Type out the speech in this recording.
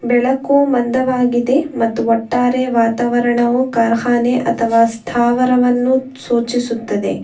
ಬೆಳಕು ಮಂದವಾಗಿದೆ ಮತ್ತು ಒಟ್ಟಾರೆ ವಾತಾವರ್ಣವು ಕಾರ್ಹನೆ ಅಥವ ಸ್ಥಾವರವನ್ನು ಸೂಚಿಸುತ್ತದೆ.